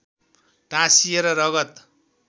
टाँसिएर रगत